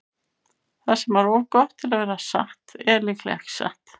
Það sem er of gott til að vera satt er líklega ekki satt.